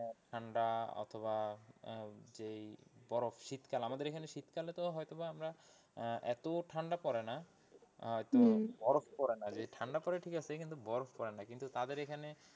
ঠান্ডা অথবা আহ যেই বরফ শীতকাল আমাদের এখানে শীতকালে তো হয়তোবা আমরা আহ এত ঠান্ডা পড়ে না বরফ পড়ে না যদি ঠান্ডা পড়ে ঠিক আছে কিন্তু বরফ পড়ে না কিন্তু তাদের এইখানে,